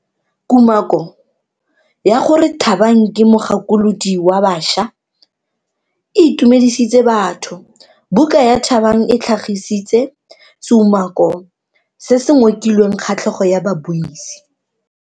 Kumako ya gore Thabang ke mogakolodi wa baša e itumedisitse batho. Buka ya Thabang e tlhagitse seumako se se ngokileng kgatlhego ya babuisi.